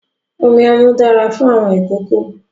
Omi ọmú dára fún àwọn ìkókó.